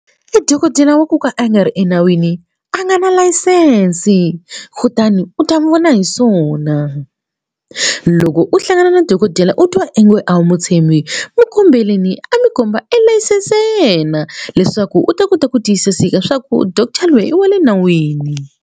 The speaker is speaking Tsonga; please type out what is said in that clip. E dokodela wa ku ka a nga ri enawini a nga na layisense kutani u ta n'wi vona hi swona loko u hlangana na dokodela u twa onge a wu mu tshembi mu kombeleni a mi komba elayisense ya yena leswaku u ta kota ku tiyisiseka swa ku doctor lweyi i wa le nawini.